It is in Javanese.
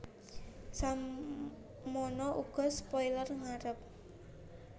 Semana uga spoiler ngarep